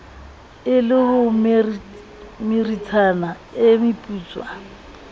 e le homeritshana e meputswa